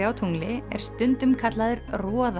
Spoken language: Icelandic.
á tungli er stundum kallaður